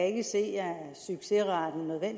ikke se